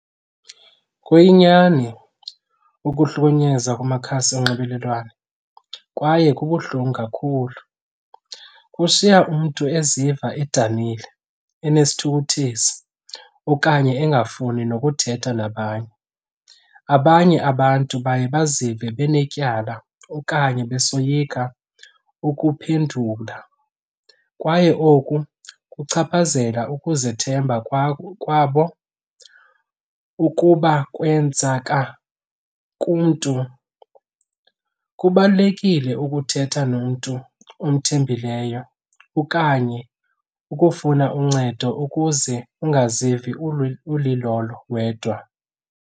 Kuyinyani ukuhlukunyezwa kumakhasi onxibelelwano kwaye kubuhlungu kakhulu. Kushiya umntu eziva edanile, enesithukuthezi okanye engafuni nokuthetha nabanye. Abanye abantu baye bazive benetyala okanye besoyika ukuphendula kwaye oku kuchaphazela ukuzithemba kwabo. Ukuba kwenzeka kumntu, kubalulekile ukuthetha nomntu omthembileyo okanye ukufuna uncedo ukuze ungazivi ulilolo wedwa.